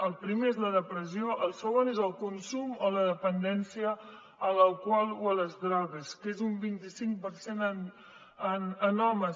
el primer és la depressió el segon és el consum o la dependència a l’alcohol o a les drogues que és un vint cinc per cent en homes